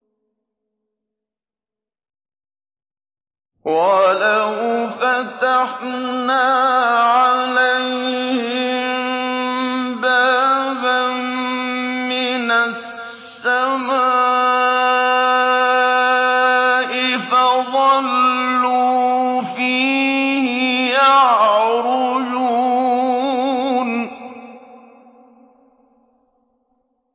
وَلَوْ فَتَحْنَا عَلَيْهِم بَابًا مِّنَ السَّمَاءِ فَظَلُّوا فِيهِ يَعْرُجُونَ